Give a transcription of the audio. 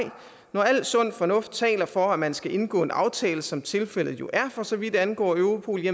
når al sund fornuft taler for at man skal indgå en aftale som tilfældet jo er for så vidt angår europol